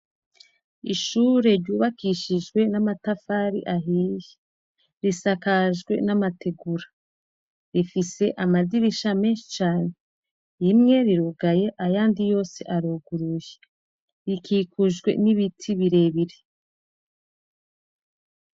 Ishuri ryubakishije n'amatafari ahiye risakajwe n'amategura rifise amadirisha meshi cane rimwe rirugaye ayandi yose aruguruye rikikujwe n'ibiti birebire.